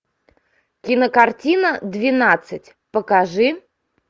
кинокартина двенадцать покажи